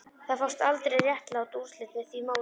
Það fást aldrei réttlát úrslit með því móti